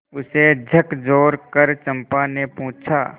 उसे झकझोरकर चंपा ने पूछा